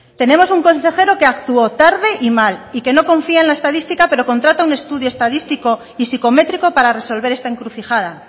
tenemos un consejero que actuó tarde y mal y que no confía en la estadística pero contrata un estudio estadístico y psicométrico para resolver esta encrucijada